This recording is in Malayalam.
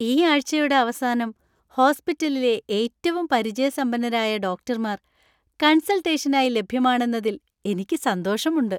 ഈ ആഴ്ചയുടെ അവസാനം ഹോസ്പിറ്റലിലെ ഏറ്റവും പരിചയസമ്പന്നരായ ഡോക്ടർമാർ കൺസൾട്ടേഷനായി ലഭ്യമാണെന്നതിൽ എനിക്ക് സന്തോഷമുണ്ട്.